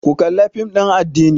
Ku kalla fim ɗin addini!